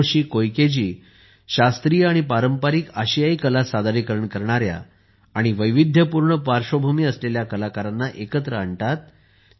Hiroshi Koike ji शास्त्रीय आणि पारंपारिक आशियाई कला सादरीकरण करणाऱ्या आणि वैविध्यपूर्ण पार्श्वभूमी असलेल्या कलाकारांना एकत्र आणतात